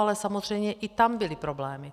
Ale samozřejmě i tam byly problémy.